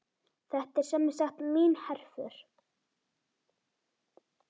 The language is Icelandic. Þetta er semsagt mín herför.